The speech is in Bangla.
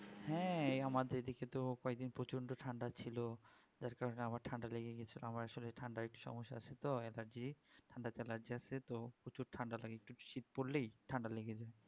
হ্যাঁ আমাদের এই দিকে তো কদিন প্রচুন্ড ঠান্ডা ছিল যার কারণে আমার ঠান্ডা লেগে গেছিলো আমার আসলে ঠান্ডা একটু সমস্যা আছে তো এলার্জি ঠান্ডা তে এলার্জি আছে তো প্রচুর ঠান্ডা লেগে একটু শীত পড়লেই ঠান্ডা লেগেযায়